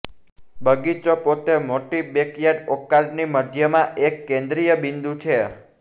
બગીચો પોતે મોટી બેકયાર્ડ ઓર્કાર્ડની મધ્યમાં એક કેન્દ્રીય બિંદુ છે